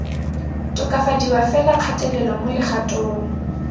tokafadiwa fela kgatelelo mo legatong